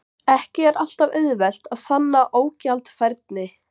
Ekki er alltaf auðvelt að sanna ógjaldfærni.